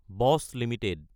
বচ্চ Ltd